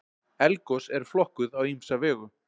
Eldgos eru flokkuð á ýmsa vegu.